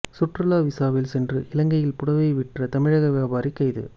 சுற்றுலா விசாவில் சென்று இலங்கையில் புடவை விற்ற தமிழக வியாபாரி கைது